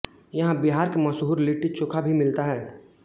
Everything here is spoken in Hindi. यहाँ बिहार के मशहूर लिट्टीचोखा भी मिलता है